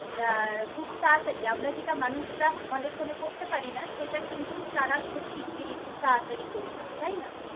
আহ খুব তারাতারি আমারা যেটা মানুষরা অনেক খনে করতে পারি না সেটা কিন্তু তারা খুব শিগগিরি খুব তারাতারি করে দেয় তাইনা?